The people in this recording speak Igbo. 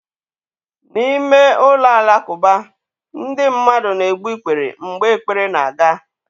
N'ime ụlọ alakụba, ndị mmadụ na-egbu ikpere mgbe ekpere na-aga.